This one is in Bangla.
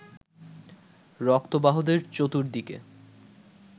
রক্তবাহদের চতুর্দিকে